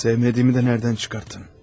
Sevmədiyimi də hardan çıxartdın?